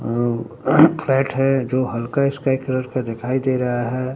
अह पेट है जो हल्का स्काई कलर का दिखाई दे रहा है।